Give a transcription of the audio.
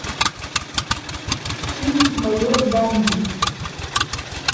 фильм майор данди